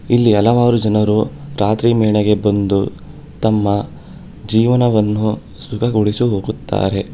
ಇಲ್ಲಿ ಹಲವಾರು ಜನರು ರಾತ್ರಿ ವೇಳೆಗೆ ಬಂದು ತಮ್ಮ ಜೀವನವನ್ನು ಸುಖಗೊಳಿಸಿ ಹೋಗುತ್ತಾರೆ.